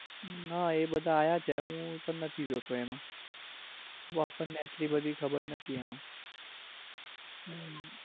હા એ બધા આવ્યા છે હું તો નથી જોતો એમાં બઉ અપડને આટલી બધી ખબર નાતી એમાં. હમ